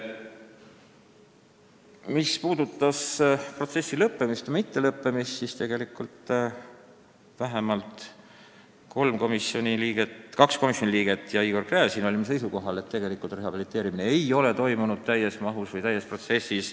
Mis puudutab selle protsessi lõppemist või mittelõppemist, siis kaks komisjoni liiget ja Igor Gräzin olid seisukohal, et tegelikult ei ole rehabiliteerimine toimunud täies mahus.